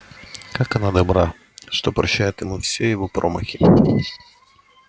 как она добра что прощает ему все его промахи